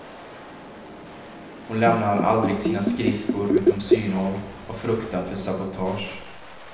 Hon lämnar aldrig sina skridskor utom synhåll av fruktan för sabotage.